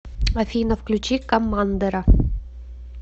афина включи коммандера